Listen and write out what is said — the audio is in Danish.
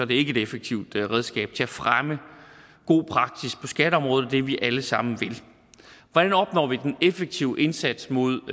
det ikke et effektivt redskab til at fremme god praksis på skatteområdet og det vi alle sammen vil hvordan opnår vi den effektive indsats mod